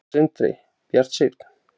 Sindri: Bjartsýnn?